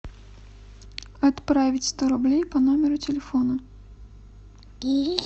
отправить сто рублей по номеру телефона